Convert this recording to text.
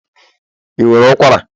ị nwere ụkwara?